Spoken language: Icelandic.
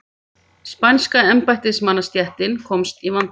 Spænska embættismannastéttin komst í vanda.